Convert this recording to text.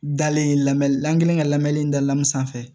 Dalen lamɛ an kɛlen ka lamɛni in dalamu sanfɛ